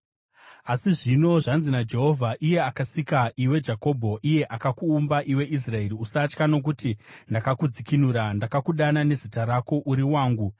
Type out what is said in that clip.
Asi zvino, zvanzi naJehovha, iye akasika iwe Jakobho, iye akakuumba iwe Israeri: “Usatya, nokuti ndakakudzikinura; ndakakudana nezita rako; uri wangu.